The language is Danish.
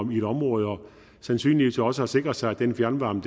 i et område og sandsynligvis også har sikret sig at den fjernvarme